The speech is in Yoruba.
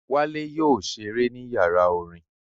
Wálé yóò ṣeré ní yàrá orin